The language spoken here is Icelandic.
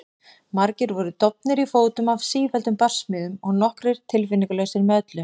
Margir voru dofnir í fótum af sífelldum barsmíðum og nokkrir tilfinningalausir með öllu.